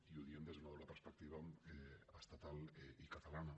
i ho diem des d’una doble perspectiva estatal i catalana